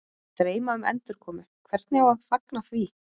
Að dreyma um endurkomu, hvernig á að fagna því?